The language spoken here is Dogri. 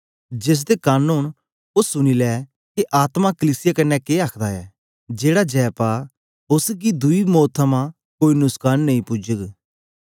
जेसदे कन ओन ओ सुनी लै के आत्मा कलीसिया कन्ने के आखदा ऐ जेहड़ा जय पा उस्स गी दुई मौत थमां कोई नुस्कान नेई पुजग